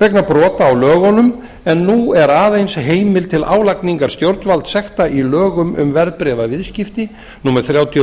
vegna brota á lögunum en nú er aðeins heimild til álagningar stjórnvaldssekta í lögum um verðbréfaviðskipti númer þrjátíu og